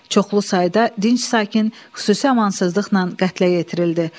Çoxlu sayda dinc sakin xüsusi amansızlıqla qətlə yetirildi.